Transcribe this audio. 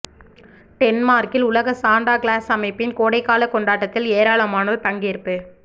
டென்மார்க்கில் உலக Santa Claus அமைப்பின் கோடைகால கொண்டாட்டத்தில் ஏராளமானோர் பங்கேற்பு